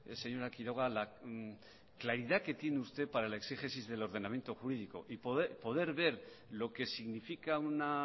señora quiroga la claridad que tiene usted para la exégesis del ordenamiento jurídico y poder ver lo que significa una